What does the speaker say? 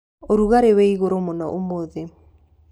ũrugarĩ wĩ igũrũ mũno ũmũthĩ.